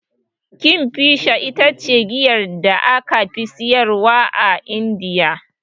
Kingfisher ita ce giyar da aka fi siyarwa a Indiya.